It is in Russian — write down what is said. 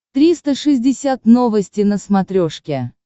триста шестьдесят новости на смотрешке